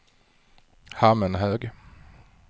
Hammenhög